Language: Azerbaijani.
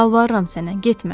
Yalvarıram sənə, getmə!